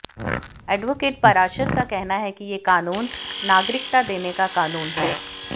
advocate Parashar का कहना है कि ये कानून नागरिकता देने का कानून है